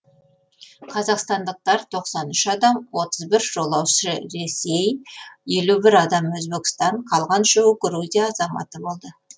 қазақстандықтар тоқсан үш адам отыз бір жолаушы ресей елу бір адам өзбекстан қалған үшеуі грузия азаматы болды